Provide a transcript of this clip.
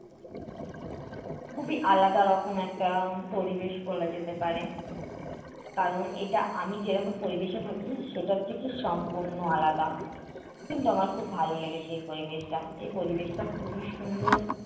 খুবই আলাদা রকম একটা পরিবেশ বলা যেতে পারে। কারণ এটা আমি যেরকম পরিবেশে থাকি সেটা থেকে সম্পূর্ণ আলাদা। কিন্তু আমার খুব ভালো লেগেছে এই পরিবেশটা, এই পরিবেশটা খুবই সুন্দর